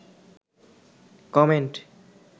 comment